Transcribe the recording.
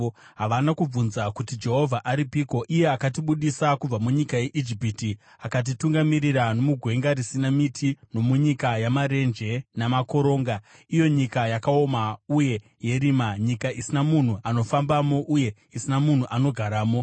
Havana kubvunza kuti, ‘Jehovha aripiko, iye akatibudisa kubva munyika yeIjipiti akatitungamirira nomugwenga risina miti, nomunyika yamarenje namakoronga, iyo nyika yakaoma uye yerima, nyika isina munhu anofambamo uye isina munhu anogaramo?’